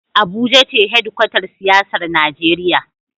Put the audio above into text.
Abuja ce hedkwatar siyasar Najeriya.